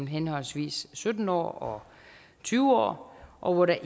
henholdsvis sytten år og tyve år og hvor der